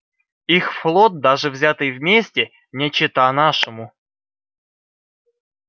их флот даже взятый вместе не чета нашему